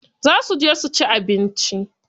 Za su je suci abinci.